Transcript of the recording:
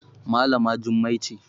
Malama Jummai ce